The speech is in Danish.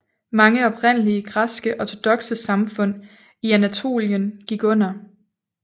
Mange oprindelige græske ortodokse samfund i Anatolien gik under